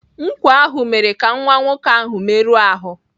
Nkwọ ahụ mere ka nwa nwoke ahụ merụọ ahụ.